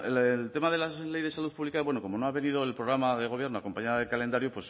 el tema de la ley de salud pública bueno como no ha venido el programa de gobierno acompañado del calendario